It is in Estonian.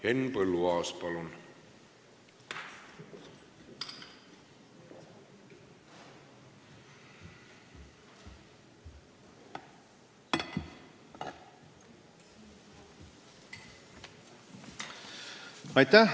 Henn Põlluaas, palun!